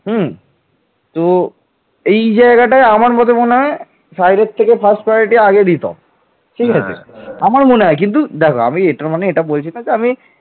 কিন্তু গুর্জর রাজা বৎসরাজের নিকট তিনি পরাজিত হন